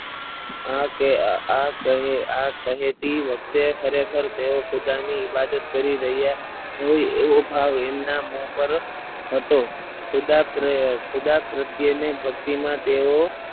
આ કે આ કે આ કહેતી વખતે ખરેખર તેઓ જાની ઈબાદત કરી રહ્યા હોય તો ભાવ એમના મોં પર હતો ખુદા ખુદા પ્રત્યેને ભક્તિમાં તેઓ